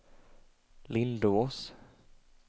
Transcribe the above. Lindås